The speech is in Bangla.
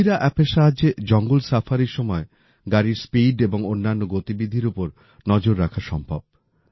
বঘিরা অ্যাপের সাহায্যে জঙ্গল সাফারির সাফারি সময় গাড়ির স্পিড এবং অন্যান্য গতিবিধির ওপর নজর রাখা সম্ভব